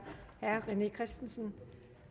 herre rené christensen